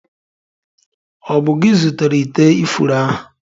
Ọ bụ gị zụtara ite ifuru ahụ?